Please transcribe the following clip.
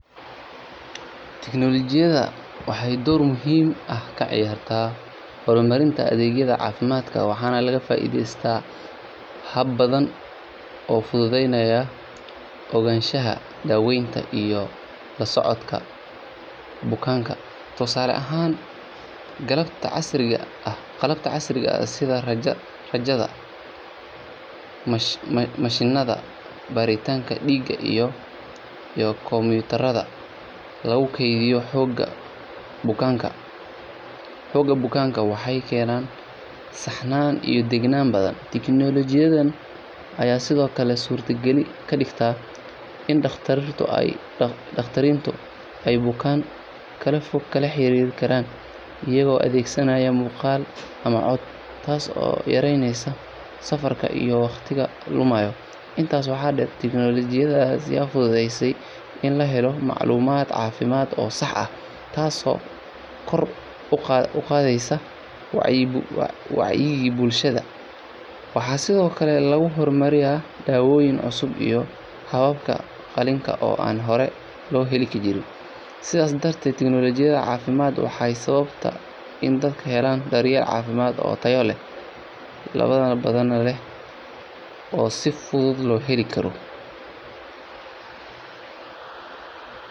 Tiknoolajiyadda waxey door muhima ah ka ciyaarata hormarinta adeegyada caafimadka waaxan laga faiidheysa haab baadan oo fudaadeyna ogansha iyo daweyta iyo la socodka bukanka tusaala ahaan qalabta casriiga sidhaa rajada mashinaada baritanka diiga iyo Computer oo lagu kediiyo hog bukanka waxey keynana saxnana iyo degenana badan tiknoolajiyadda aya sidhoo kale surtagali kadiigta in ey dakhtariinto ee bukanka kala fog ee kala xeriri karaan iyadho adeegsanaya buqal iyo cod taaso ka yariyneyso safarka iyo wakhtiigo lomaayo intaas waaxa deer tiknoolajiyadda si fududeyse in lahelo maclumad cafimad oo saaxa taas oo kor uqaadeyso wacyiga bulshada waaxa sidhoo kale lagu hormari ya daawoni cusub iyo qofka qalinka oo aan hore lo heli jiren sidhaa darte tiknoolajiyadda cafimad sababta in daadka helan daryel cafiimadda oo tayaleh oo badaana leh oo si fudud lo heli karo